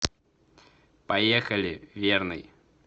поехали верный